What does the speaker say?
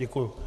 Děkuji.